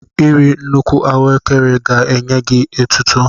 Iri nnukwu ahụekere ga-enye gị etuto.